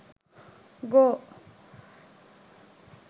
go